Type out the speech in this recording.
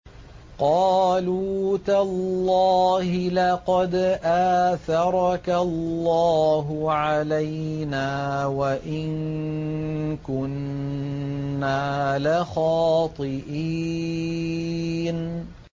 قَالُوا تَاللَّهِ لَقَدْ آثَرَكَ اللَّهُ عَلَيْنَا وَإِن كُنَّا لَخَاطِئِينَ